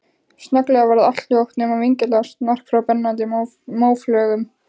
Snögglega varð allt hljótt, nema vingjarnlegt snark frá brennandi móflögum.